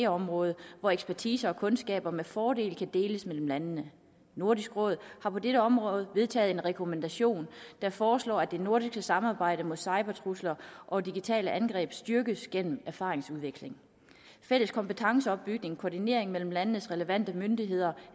område hvor ekspertise og kundskaber med fordel kan deles mellem landene nordisk råd har på dette område vedtaget en rekommandation der foreslår at det nordiske samarbejde mod cybertrusler og digitale angreb styrkes gennem erfaringsudveksling fælles kompetenceopbygning koordinering mellem landenes relevante myndigheder